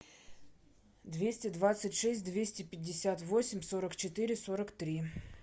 двести двадцать шесть двести пятьдесят восемь сорок четыре сорок три